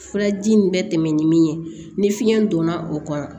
Furaji nin bɛ tɛmɛ ni min ye ni fiɲɛ donna o kɔnɔ